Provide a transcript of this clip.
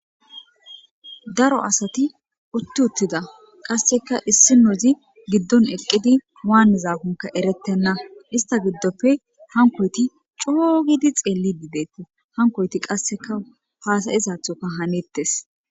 Daaro asati utti uttida qasseka issinozi giiddon eqqidi waanizakkoka eerettena isstta giiddoppe haankoytti coo giidi xeelidi dettes haankoytti qasseka hasa'izathoka haanettes.